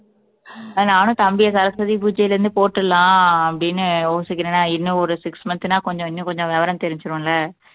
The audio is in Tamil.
அஹ் தம்பிய சரஸ்வதி பூஜையிலிருந்து போட்டுடலாம் அப்படீன்னு யோசிக்கிறேன். நான் இன்னும் ஒரு six month னா கொஞ்சம் இன்னும் கொஞ்சம் விவரம் தெரிஞ்சுரும்ல